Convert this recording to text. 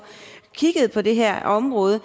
kigget på det her område